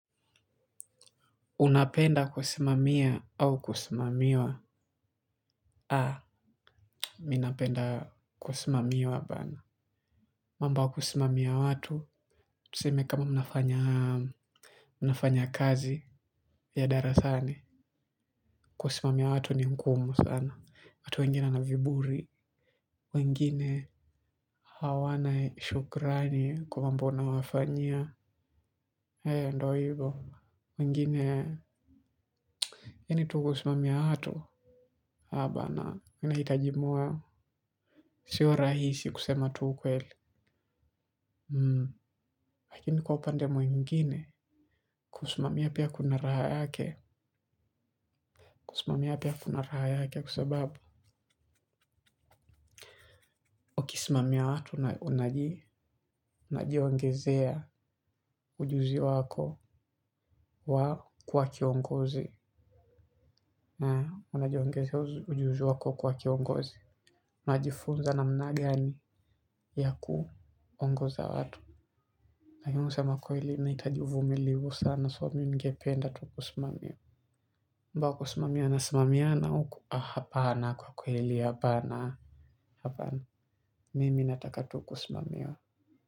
Unapenda kusimamia au kusimamiwa? Haa, mi napenda kusimamiwa bana. Mambo ya kusimamia watu tuseme kama mnafanya mnafanya kazi ya darasani. Kusimamia watu ni ngumu sana. Watu wengine wana viburi. Wengine hawana shukrani kwa mambo unawafanyia. Hea ndo hivo. Wengine, yani tu kusimamia watu? Haa bana, inahitaji moyo. Siyo rahisi kusema tu ukweli. Lakini kwa upande mwengine, kusimamia pia kuna raha yake. Kusimamia pia kuna raha yake kwa sababu. Ukisimamia watu unajiongezea ujuzi wako wa kuwa kiongozi, na unajiongezea ujuzi wako wa kuwa kiongozi. Unajifunza namna gani ya kuongoza watu. Lakini kusema kweli, inahitaji uvumilivu sana. So, mi ningependa tu kusimamiwa. Mambo ya kusimamiwa nasimamiana huku hapana kwa kwa kweli hapana. Mimi nataka tu kusimamiwa.